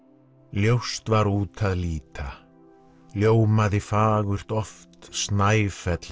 ljóst var út að líta ljómaði fagurt oft Snæfell